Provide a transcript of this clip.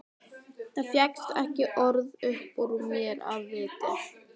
Það fékkst ekki orð upp úr mér af viti.